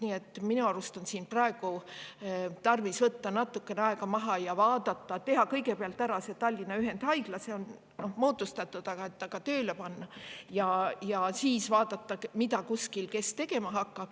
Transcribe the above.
Nii et minu arust on praegu tarvis võtta natukene aeg maha, kõigepealt Tallinna ühendhaigla – see on moodustatud – tööle panna ja siis vaadata, kes mida kuskil tegema hakkab.